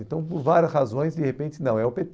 Então, por várias razões, de repente, não, é o pê